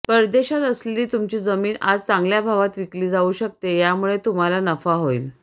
परदेशात असलेली तुमची जमीन आज चांगल्या भावात विकली जाऊ शकते यामुळे तुम्हाला नफा होईल